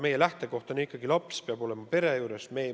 Meie lähtekoht on ikkagi see, et laps peab olema pere juures.